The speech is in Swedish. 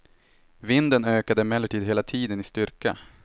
Vinden ökade emellertid hela tiden i styrka.